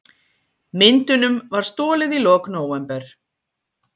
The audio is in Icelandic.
Myndunum var stolið í lok nóvember